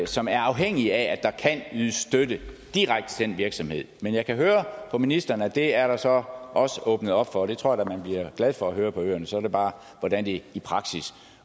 som er afhængige af at der kan ydes støtte direkte til den enkelte virksomhed men jeg kan høre på ministeren at det er der så også åbnet op for det tror jeg man bliver glad for at høre på øerne så er det bare hvordan det i praksis